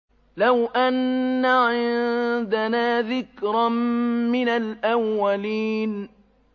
لَوْ أَنَّ عِندَنَا ذِكْرًا مِّنَ الْأَوَّلِينَ